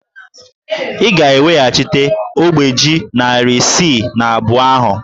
Ị ga-eweghachite ogbe ji narị isii na abụọ ahụ!